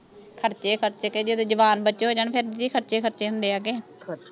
ਖਰਚੇ ਖਰਚੇ ਕੇ ਜਦੋਂ ਜਵਾਨ ਬੱਚੇ ਹੋ ਜਾਣ ਫੇਰ ਦੀਦੀ ਖਰਚੇ ਖਰਚੇ ਹੁੰਦੇ ਆ ਕੇ ਖਰਚੇ